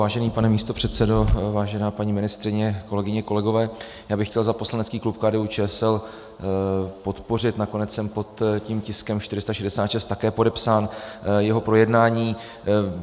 Vážený pane místopředsedo, vážená paní ministryně, kolegyně, kolegové, já bych chtěl za poslanecký klub KDU-ČSL podpořit, nakonec jsem pod tím tiskem 466 také podepsán, jeho projednání.